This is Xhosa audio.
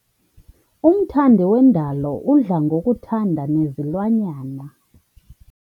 Umthandi wendalo udla ngokuthanda nezilwanyana.